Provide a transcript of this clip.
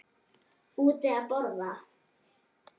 Úti að borða.